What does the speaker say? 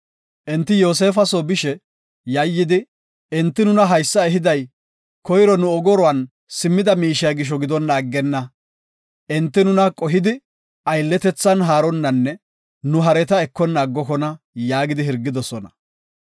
Enti Yoosefa soo bishe, yayidi, “Enti nuna haysa ehiday koyro nu ogoruwan simmida miishiya gisho gidonna aggenna. Enti nuna qohidi aylletethan haaronnanne nu hareta ekona aggokona” yaagi hirgidosona.